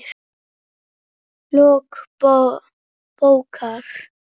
Lok bókar